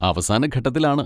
അവസാന ഘട്ടത്തിലാണ്.